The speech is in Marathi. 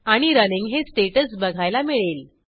आणि रनिंग हे स्टेटस बघायला मिळेल